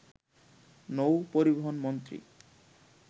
নৌপরিবহন মন্ত্রী